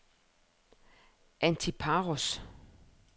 Antiparos